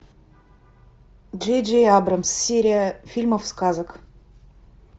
джей джей абрамс серия фильмов сказок